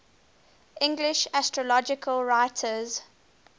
english astrological writers